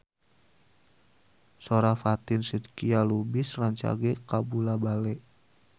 Sora Fatin Shidqia Lubis rancage kabula-bale